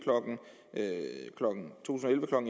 klokken